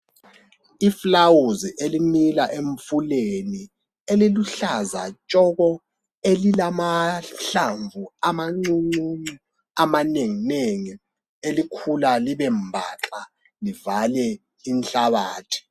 Iflawuzi elimila emfuleni eliluhlaza tshoko elilamahlamvu amancuncuncu amanenginengi elikhula libembaxa livale inhlabathi.